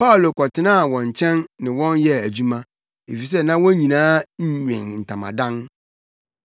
Paulo kɔtenaa wɔn nkyɛn ne wɔn yɛɛ adwuma, efisɛ na wɔn nyinaa nwen ntamadan.